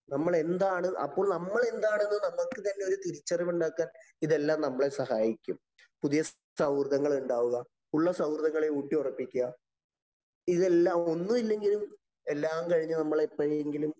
നമ്മള്‍ എന്താണ്? അപ്പോള്‍ നമ്മള്‍ എന്താണ് എന്ന് നമ്മള്‍ക്ക് തന്നെ ഒരു തിരിച്ചറിവ് ഉണ്ടാക്കാന്‍ ഇതെല്ലാം നമ്മളെ സഹായിക്കും. പുതിയ സൗഹൃദങ്ങളുണ്ടാകുക, ഉള്ള സൗഹൃദങ്ങളെ ഊട്ടിയുറപ്പിക്കുക, ഇതെല്ലാം ഒന്നുമില്ലെങ്കിലും എല്ലാം കഴിഞ്ഞ് നമ്മളെപ്പോഴെങ്കിലും